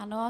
Ano.